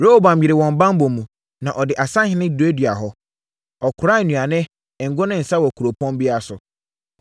Rehoboam yeree wɔn banbɔ mu, na ɔde asahene duaduaa hɔ. Ɔkoraa nnuane, ngo ne nsã wɔ kuropɔn biara so.